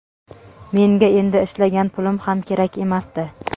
menga endi ishlagan pulim ham kerak emasdi.